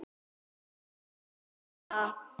Hún var bara mamma.